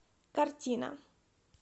картина